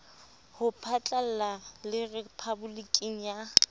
ho phatlalla le rephaboliki ya